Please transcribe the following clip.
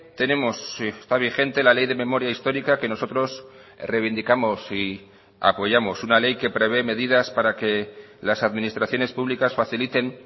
tenemos está vigente la ley de memoria histórica que nosotros reivindicamos y apoyamos una ley que prevé medidas para que las administraciones públicas faciliten